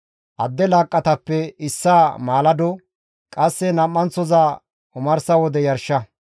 Adde laaqqatappe issaa maalado, qasse nam7anththoza omarsa wode yarsha.